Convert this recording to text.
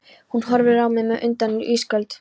Hún horfir á mig með undrun í ísköld